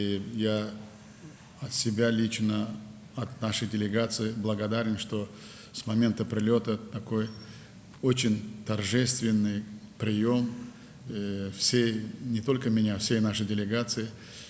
Və mən şəxsən öz adımdan, nümayəndə heyətimizin adından minnətdaram ki, gəldiyimiz andan etibarən bütün, təkcə məni deyil, bütün nümayəndə heyətimizi belə təntənəli qarşıladılar.